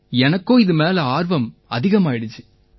எனக்கும் இது மேல ஆர்வம் அதிகமாயிருச்சு